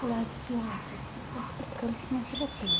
Falei, que ódio, ainda tem que estar explicando o que minha filha tem.